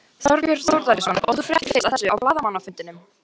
Þorbjörn Þórðarson: Og þú fréttir fyrst af þessu á blaðamannafundinum?